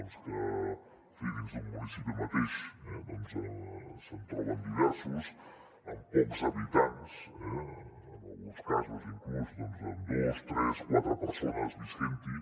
en fi dins d’un municipi mateix doncs se’n troben diversos amb pocs habitants eh en alguns casos inclús amb dos tres quatre persones vivint hi